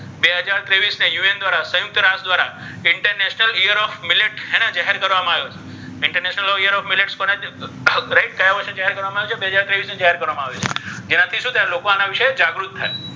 બે હજાર ત્રેવીસમાં UN દ્વારા સંયુક્ત રાષ્ટ્ર દ્વારા international year of millets હેને જાહેર કરવામાં આવ્યો છે. international year of millets કોને? right કયા વર્ષને જાહેર કરવામાં આવ્યો છે? બે હજાર ત્રેવીસને જાહેર કરવામાં આવ્યો છે. જેનાથી શું થાય? લોકો એના વિશે જાગૃત થાય.